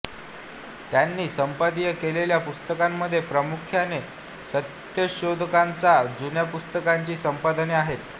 त्यांनी संपादित केलेल्या पुस्तकांमध्ये प्रामुख्याने सत्यशोधकांच्या जुन्या पुस्तकांची संपादने आहेत